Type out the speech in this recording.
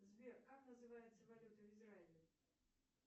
сбер как называется валюта в израиле